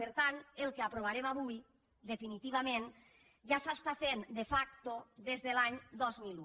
per tant el que aprovarem avui definitivament ja s’està fent de facto des de l’any dos mil un